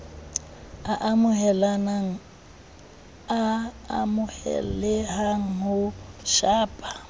a amoheleha ya ho shapa